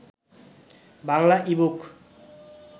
Bangla e-book